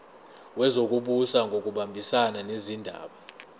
wezokubusa ngokubambisana nezindaba